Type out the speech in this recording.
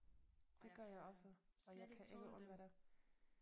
Og jeg kan slet ikke tåle dem